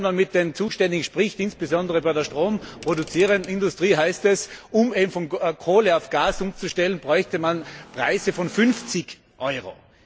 Nur wenn man mit den Zuständigen spricht, insbesondere bei der stromproduzierenden Industrie, dann heißt es, um von Kohle auf Gas umzustellen, bräuchte man Preise von 50